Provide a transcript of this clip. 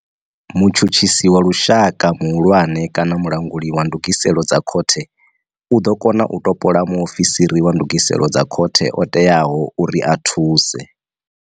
Mutshutshisi wa lushaka muhulwane kana mulanguli wa ndugiselo dza khothe u ḓo kona u topola mu ofisiri wa ndugiselo dza khothe o teaho uri a thuse.